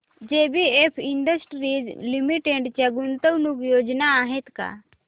JBF industries limited च्या गुंतवणूक योजना आहेत का